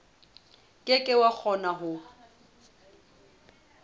ke ke wa kgona ho